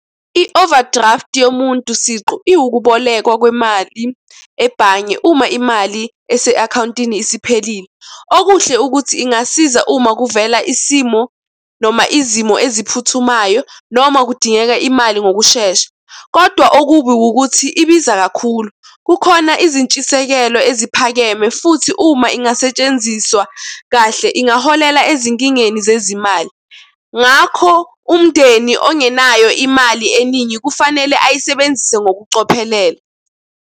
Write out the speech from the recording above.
I-overdraft yomuntu siqu, iwukubolekwa kwemali ebhange uma imali ese-akhawuntini isiphelile. Okuhle ukuthi ingasiza uma kuvela isimo noma izimo eziphuthumayo noma kudingeka imali ngokushesha, kodwa okubi wukuthi, ibiza kakhulu. Kukhona izintshisekelo eziphakeme, futhi uma ingasetshenziswa kahle ingaholela ezinkingeni zezimali. Ngakho, umndeni ongenayo imali eningi kufanele ayisebenzise ngokucophelela.